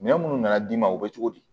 Minɛn minnu nana d'i ma o bɛ cogo di